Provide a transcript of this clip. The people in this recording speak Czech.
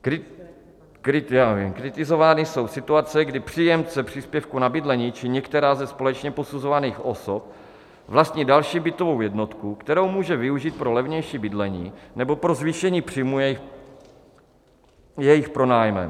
Kritizovány jsou situace, kdy příjemce příspěvku na bydlení či některá ze společně posuzovaných osob vlastní další bytovou jednotku, kterou může využít pro levnější bydlení, nebo pro zvýšení příjmů jejich pronájmem.